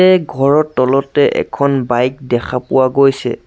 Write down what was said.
তে ঘৰৰ তলতে এখন বাইক দেখা পোৱা গৈছে।